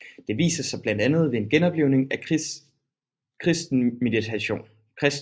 Det viser sig blandt andet ved en genoplivning af kristen meditation